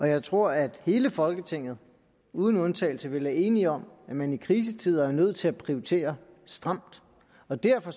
jeg tror at hele folketinget uden undtagelse vel er enige om at man i krisetider er nødt til at prioritere stramt og derfor